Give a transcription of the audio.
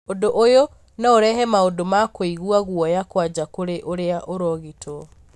ũndũ ũyũ no ũrehe maũndũ ma kũigwa guoya kwanja kũrĩ ũria ũrogitwo.